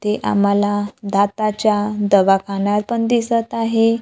ते आम्हाला दाताच्या दवाखाना पण दिसत आहे.